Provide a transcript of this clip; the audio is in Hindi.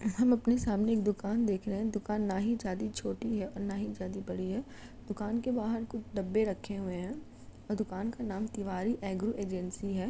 हम अपनी सामने एक दुकान देख रहे हैं दुकान ना ही ज्यादि छोटी है और ना ही ज्यादि बड़ी है दुकान के बाहार कुछ डब्बे रखे हुए है और दुकान का नाम तिवारी एग्रो एजेंसी है।